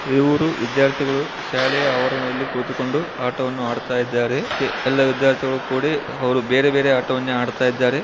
ಇವರು ವಿದ್ಯಾರ್ಥಿಗಳು ಶಾಲೆಯಾ ಆವರಣದಲ್ಲಿ ಕುಳಿತುಕೊಂಡು ಆಟವನ್ನು ಆಡುತ್ತಿದ್ದಾರೆ. ಎಲ್ಲ ವಿದ್ಯಾರ್ಥಿಗಳು ಕೂಡಿ ಅವರು ಬೇರೆ ಬೇರೆ ಆಟವನ್ನೇ ಆಡುತ್ತಿದ್ದಾರೆ.